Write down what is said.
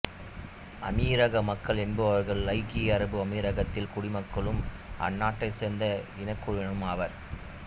அமீரக மக்கள் என்பவர்கள் ஐக்கிய அரபு அமீரகத்தின் குடிமக்களும் அந்நாட்டைச் சேர்ந்த இனக்குழுவினரும் ஆவர்